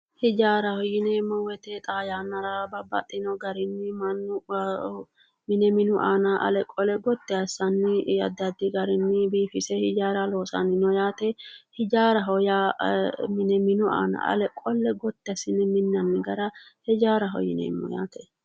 Hijaaraho yineemmo woyiite xaa yannara Babbaxxino garinni mannu mine minu aana gotti assanni biifise hijaara loosanni no yaate hijaaraho yaa mine minu aana gotti assine ale qolle minnanni gara hijaaraho yineemmo yaate